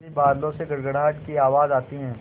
तभी बादलों से गड़गड़ाहट की आवाज़ आती है